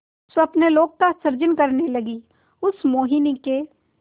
स्वप्नलोक का सृजन करने लगीउस मोहिनी के